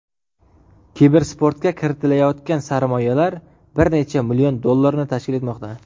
Kibersportga kiritilayotgan sarmoyalar bir necha million dollarni tashkil etmoqda.